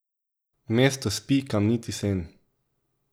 Mesto spi kamniti sen.